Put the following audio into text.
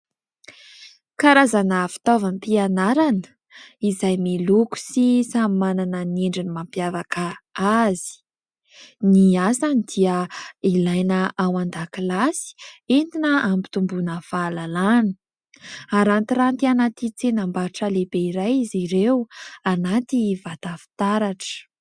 Karazana fitaovam-pianarana izay miloko sy samy manana ny endriny mampiavaka azy; ny asany dia ilaina ao an-dakilasy entina ampitomboana fahalalàna. Arantiranty anaty tsenam-barotra lehibe iray izy ireo anaty vata fitaratra.